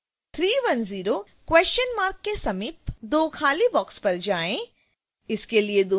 310 के समीप दो खाली boxes पर जाएँ